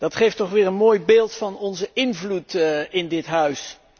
Dat geeft toch weer een mooi beeld van onze invloed in dit huis.